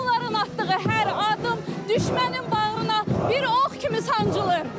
Onların atdığı hər addım düşmənin bağrına bir ox kimi sancılır.